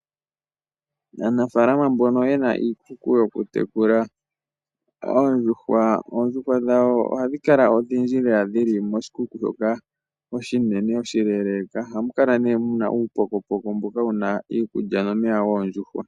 Aanafaalama mbono ye na iikuku yokutekula oondjuhwa, oondjuhwa dhawo ohadhi kala odhindji lela. Ohadhi kala koshikuku shoka oshinene oshileeleka. Ohamu kala mu na uupokopoko mboka wu na iikulya nomeya goondjuhwa.